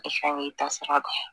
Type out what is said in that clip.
Fɛn ta sara kan